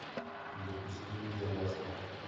запусти виза на смерть